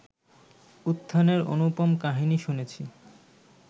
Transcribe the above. উত্থানের অনুপম কাহিনী শুনেছি